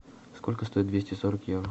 сколько стоит двести сорок евро